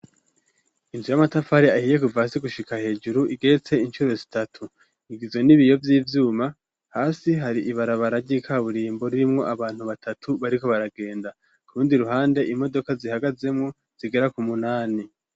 Inzu y'amatafari ahiye guvasi gushika hejuru igeretse inshuro zitatu ingizo n'ibiyo vy'ivyuma hasi hari ibara baragikaburimbo rurimwo abantu batatu bariko baragenda ku rundi ruhande imodoka zihagazemwo zigera ku munani.